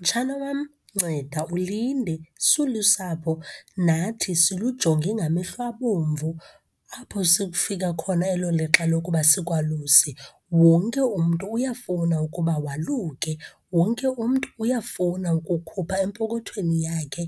Mtshana wam, nceda ulinde. Silusapho, nathi silujonge ngamehlo abomvu apho sekufika khona elo lixa lokuba sikwaluse. Wonke umntu uyafuna ukuba waluke, wonke umntu uyafuna ukukhupha empokothweni yakhe,